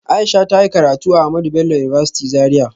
Aisha ta yi karatu a Ahmadu Bello University Zaria